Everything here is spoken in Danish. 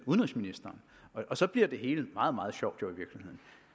udenrigsministeren og så bliver det hele jo meget meget sjov